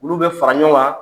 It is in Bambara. Olu bɛ fara ɲɔgɔn kan.